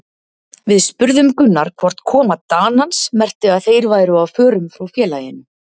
Við spurðum Gunnar hvort koma Danans merkti að þeir væru á förum frá félaginu?